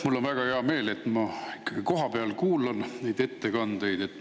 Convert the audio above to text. Mul on väga hea meel, et ma kohapeal neid ettekandeid kuulan.